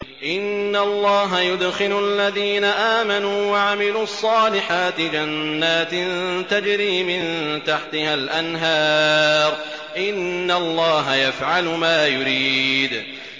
إِنَّ اللَّهَ يُدْخِلُ الَّذِينَ آمَنُوا وَعَمِلُوا الصَّالِحَاتِ جَنَّاتٍ تَجْرِي مِن تَحْتِهَا الْأَنْهَارُ ۚ إِنَّ اللَّهَ يَفْعَلُ مَا يُرِيدُ